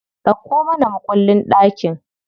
Dauko mana mukullin ɗakin.